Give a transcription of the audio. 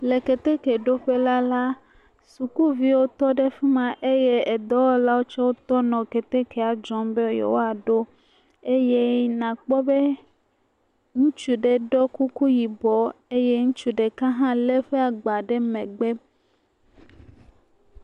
Le ketekeɖoƒela la sukuviwo tɔ ɖe fi ma eye edɔwɔlawo tsɛ tɔ nɔ ketekea dzɔm be yewoaɖo. Eye nàkpɔ be ŋutsu ɖe ɖɔ kuku yibɔ eye ŋutsu ɖeka hã lé eƒe agba ɖe megbe.